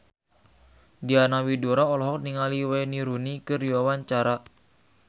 Diana Widoera olohok ningali Wayne Rooney keur diwawancara